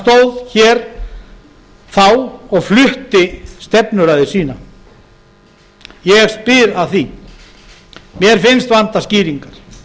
stóð hér þá og flutti stefnuræðu sína ég spyr að því mér finnst vanta skýringar þjóðin hefur